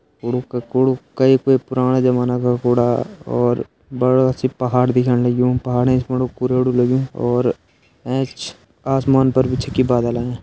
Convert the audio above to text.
कुड़ु क कुड़ु कई कोई पुराणा जमाना का कुड़ा और बड़ा सी पहाड़ दिखेण लग्युं पहाड़ एंच फुण कूड़ेड़ु लग्युं और एंच आसमान पर भी छकि बादल आयां।